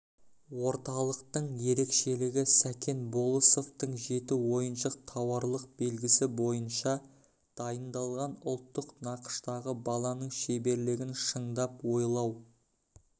орталықтың ерекшелігі сәкен болысовтың жеті ойыншық тауарлық белгісі бойынша дайындалған ұлттық нақыштағы баланың шеберлігін шыңдап ойлау